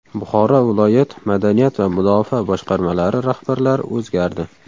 Buxoro viloyat madaniyat va mudofaa boshqarmalari rahbarlari o‘zgardi.